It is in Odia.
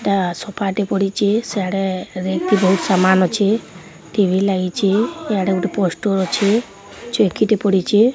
ଏଟା ସୋଫା ଟେ ପଡ଼ିଚେ। ସିଆଡ଼େ ରେକ୍ ରେ ବୋହୁତ ସାମାନ୍ ଅଛେ। ଟି_ଭି ଲାଗିଚେ। ଇଆଡେ ଗୋଟେ ପୋଷ୍ଟର ଅଛେ। ଚୌକିଟେ ପଡ଼ିଚେ।